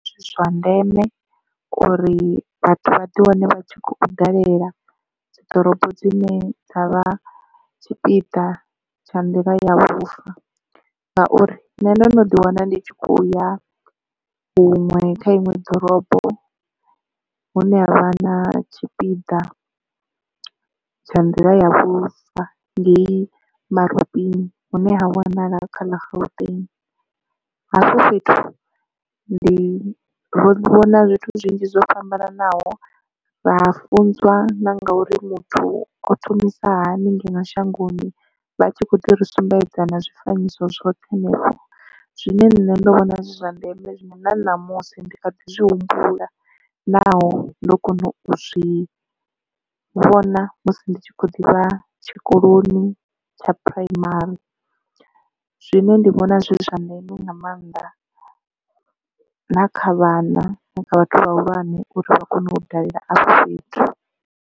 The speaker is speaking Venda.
Ndi zwa ndeme uri vhathu vha ḓi wane vha tshi khou dalela dzi ḓorobo dzine dza vha tshipiḓa tsha nḓila ya vhufa ngauri nne ndo no ḓi wana ndi tshi khou ya huṅwe kha iṅwe ḓorobo hune havha na tshipiḓa tsha nḓila ya vhufa ngeyi maroting hune ha wanala kha ḽa gauteng. Hafho fhethu ndi ro vhona zwithu zwinzhi zwo fhambananaho ra funzwa na ngauri muthu o thomisa hani ngeno shangoni vha tshi kho ḓi ri sumbedza na zwifanyiso zwoṱhe henefho. Zwine nṋe ndo vhona zwi zwa ndeme zwine na ṋamusi ndi kha ḓi zwi humbula naho ndo kona u zwi vhona musi ndi tshi khou ḓivha tshikoloni tsha phuraimari zwine ndi vhona zwi zwa ndeme nga maanḓa na kha vhana na kha vhathu vhahulwane uri vha kone u dalela a fhethu.